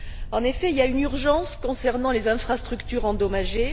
En effet, il y a une urgence concernant les infrastructures endommagées.